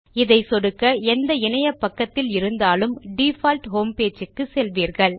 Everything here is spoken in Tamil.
இதை சொடுக்க எந்த இணையபக்கத்தில் இருந்தாலும் டிஃபால்ட் ஹோம்பேஜ் க்கு செல்வீர்கள்